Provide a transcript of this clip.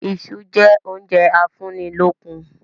Iṣu jẹ oúnjẹ a fún í lókun